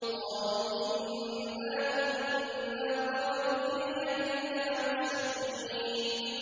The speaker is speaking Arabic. قَالُوا إِنَّا كُنَّا قَبْلُ فِي أَهْلِنَا مُشْفِقِينَ